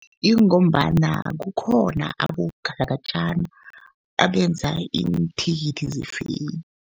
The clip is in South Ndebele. Ingombana kukhona abogalakatjana abenza iinthikithi ze-fake.